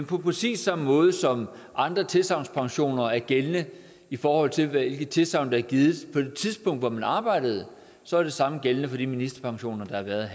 præcis samme måde som andre tilsagnspensioner er gældende i forhold til hvilke tilsagn der er givet på det tidspunkt hvor man arbejdede så er det samme gældende for de ministerpensioner